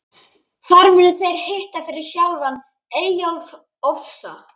Þar munu þeir hitta fyrir sjálfan Eyjólf ofsa.